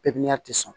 Pipiniyɛri tɛ sɔn